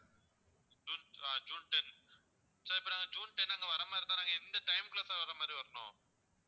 June ah June ten sir இப்போ நாங்க அங்க ஜூன் ten அங்க வர்ற மாதிரி இருந்தா நாங்க எந்த time குள்ள sir வர்ற மாதிரி வரணும்